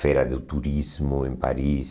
Feira do turismo em Paris.